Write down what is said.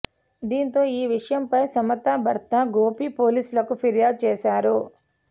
దీంతో ఈ విషయంపై సమత భర్త గోపి పోలీసులకు ఫిర్యాదు చేశారు